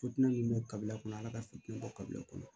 Fitiini bɛ kabila kɔnɔ ala ka fitinɛ bɔ kabila kɔnɔ